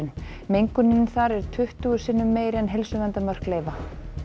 mengunin þar er tuttugu sinnum meiri en heilsuverndarmörk leyfa